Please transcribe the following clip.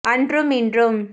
அன்றும் இன்றும்